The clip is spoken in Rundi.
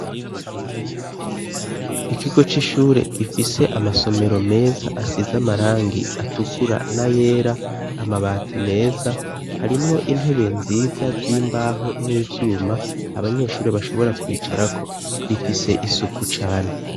Ikigo c'ishure gifise amasomero meza asize amarangi atukura n'ayera, amabati meza. Harimwo intebe nziza z'imbaho n'ivyuma abanyeshuri bashobora kwicarako. Rifise isuku cane.